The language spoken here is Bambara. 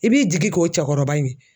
I b'i jigi k'o cɛkɔrɔba ye